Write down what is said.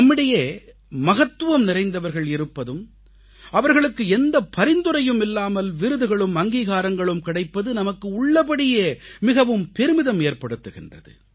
நம்மிடையே மகத்துவம் நிறைந்தவர்கள் இருப்பதும் அவர்களுக்கு எந்த பரிந்துரையும் இல்லாமல் விருதுகளும் அங்கீகாரங்களும் கிடைப்பதும் நமக்கு உள்ளபடியே மிகுந்த பெருமிதம் ஏற்படுத்துகின்றது